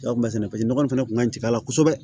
nɔgɔ in fana tun ka jigin a la kosɛbɛ